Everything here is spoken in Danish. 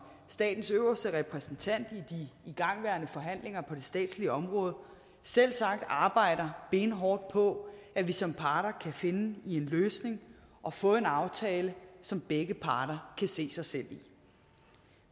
statens øverste repræsentant i de igangværende forhandlinger på det statslige område selvsagt arbejder benhårdt på at vi som parter kan finde en løsning og få en aftale som begge parter kan se sig selv i